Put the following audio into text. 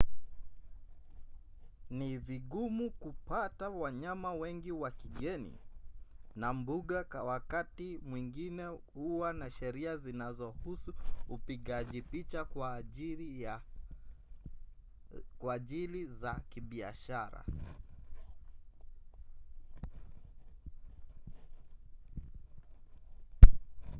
ni vigumu kupata wanyama wengi wa kigeni na mbuga wakati mwingine huwa na sheria zinazohusu upigaji picha kwa ajili za kibiashara